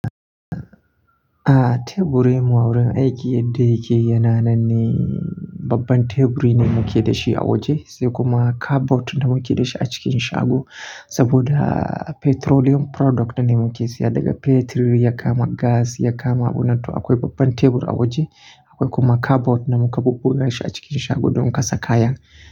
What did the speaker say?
A teburi mu a wurin aiki yadda yake yana nan ne babban teburi ne muke da shi a waje sai kuma cupboard da muke da shi a cikin shago saboda petroleum product ne muke siya daga fetur ya kama gas ya kama. Wannan to akwai babban tebur a waje akwai kuma cupboard da muka bubbu da shi a cikin shago don kasa kaya.